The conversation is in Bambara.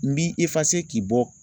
N ci